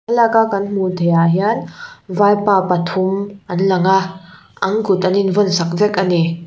thlalaka an hmuh theih ah hian vaipa pathum an lang a an kut an in vawn sak vek a ni.